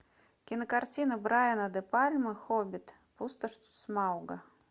кинокартина брайана де пальма хоббит пустошь смауга